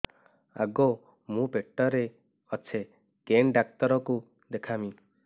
ଆଗୋ ମୁଁ ପେଟରେ ଅଛେ କେନ୍ ଡାକ୍ତର କୁ ଦେଖାମି